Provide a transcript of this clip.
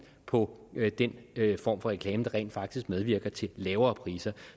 på den form for reklame der rent faktisk medvirker til lavere priser